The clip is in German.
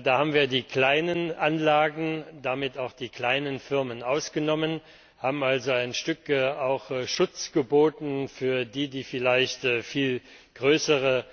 Da haben wir die kleinen Anlagen und damit auch die kleinen Firmen ausgenommen, haben also einen gewissen Schutz geboten für die, die vielleicht viel größere